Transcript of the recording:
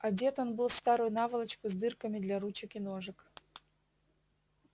одет он был в старую наволочку с дырками для ручек и ножек